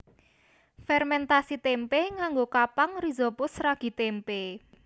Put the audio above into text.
Fèrmèntasi témpé nganggo kapang rhizopus ragi témpé